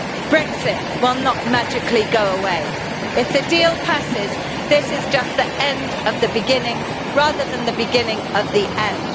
Brexit will not magically go away. If the deal passes, this is just the end of the beginning, rather than the beginning of the end.